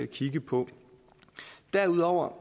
kigge på derudover